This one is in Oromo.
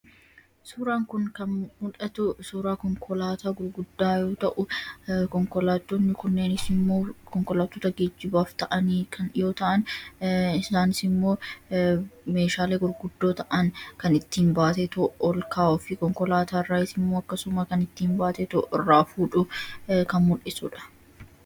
Suuraan kun kan mul'isu suuraa konkolaataa gurguddaa yoo ta'u, konkolaatonni kunis geejibaaf oolu. Isaanis immoo meeshaalee gurguddoo ta'an baatanii ol kaasuuf yookiin gad buusuuf gargaaru.